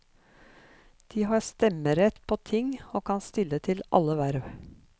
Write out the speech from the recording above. De har stemmerett på ting og kan stille til alle verv.